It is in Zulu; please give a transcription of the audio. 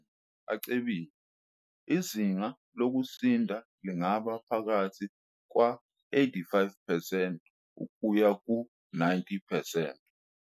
"Emazweni acebile, izinga lokusinda lingaba phakathi kwama-85 percent kuya kuma-90 percent."